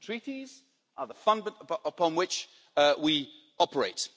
The Treaties are the fundament upon which we operate.